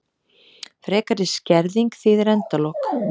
Frekari skerðing þýðir endalok